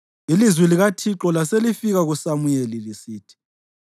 Ilizwi likaThixo laselifika kuSamuyeli lisithi,